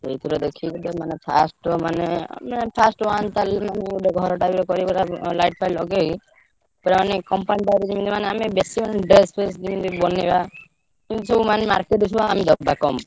ସେଇଥିରୁ ଦେଖିକି first ରୁ ମାନେ ମାନେ first ରୁ ମାନେ ଗୋଟେ ଘରଟା ଗୋଟେ କରିବ ତାପରେ light ଫାଇଟ ଲଗେଇ ପୁରା ମାନେ company ଟା ଗୋଟେ ଯେମିତି ମାନେ ଆମେ ବେଶୀ ମାନେ dress ଫ୍ରେସ ଯିମିତି ବନେଇବା ଯିମିତି ସବୁ ମାନେ market ରେ ଦବା ସବୁ ଆମେ କମ୍।